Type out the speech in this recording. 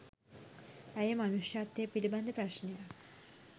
ඇය මනුෂ්‍යත්වය පිලිබඳ ප්‍රශ්නයක්